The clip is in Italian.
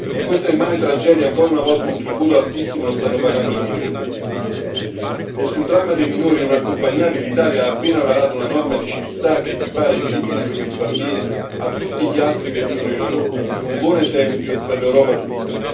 In questa immane tragedia ancora una volta un tributo altissimo lo stanno pagando i minori, e sul dramma dei minori non accompagnati l'Italia ha appena varato una norma di civiltà che equipara i diritti di questi bambini a tutti gli altri che vivono in Europa un buon esempio per l'Europa tutta.